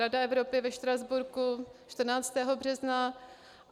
Rada Evropy ve Štrasburku 14. března.